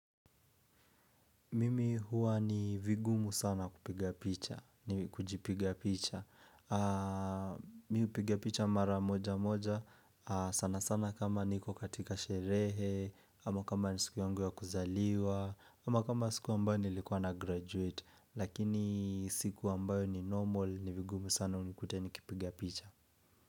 Mimi huwa ni vigumu sana kupiga picha, ni kujipiga picha Mi hupiga picha mara moja moja, sana sana kama niko katika sherehe ama kama ni siku yangu ya kuzaliwa ama kama siku ambayo nilikuwa na graduate Lakini siku ambayo ni normal, ni vigumu sana unikute nikipiga picha.